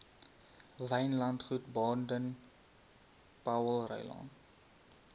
wynlandgoed baden powellrylaan